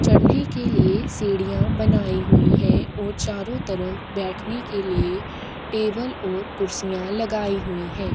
चढ़ने के लिए सीढ़ियां बनाई हुई है और चारों तरफ बैठने के लिए टेबल और कुर्सियां लगाई हुई हैं।